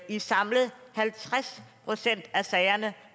i samlet halvtreds procent af sagerne